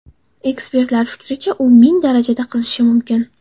Ekspertlar fikricha, u ming darajagacha qizishi mumkin.